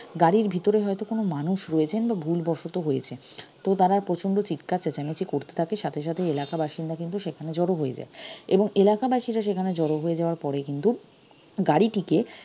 গাড়ির ভিতরে হয়তো কোনো মানুষ রয়েছেন বা ভুলবশত হয়েছে তো তারা প্রচন্ড চিৎকার চেঁচামেচি করতে থাকে সাথে সাথেই এলাকাবাসীন্দা কিন্তু সেখানে জড়ো হয়ে যায় এবং এলাকাবাসীরা সেখানে জড়ো হয়ে যাওয়ার পরে কিন্তু গাড়িটিকে